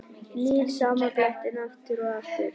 Nýr sama blettinn aftur og aftur.